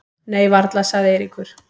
Nei varla sagði Eiríkur.